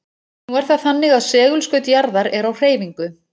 Nú er það þannig að segulskaut jarðar er á hreyfingu.